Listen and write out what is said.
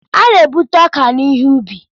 A na-ebute ọka n'ihe ubi.